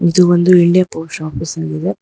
ಇದು ಒಂದು India post office ಆಗಿದೆ.